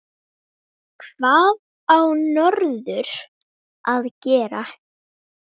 Hvað á norður að gera?